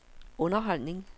underholdning